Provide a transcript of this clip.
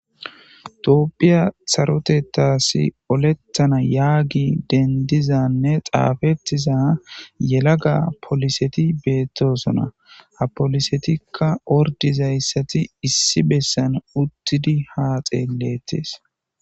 Toopphiya sarotetasi olettana yaagi dendizanne xaafettiza yelaga poliseti beettosona ha polisetikka ordizayssati issi bessan uttidi haa xeelettes